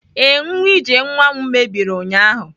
Ee, nwa ije nwa m mebiri ụnyahụ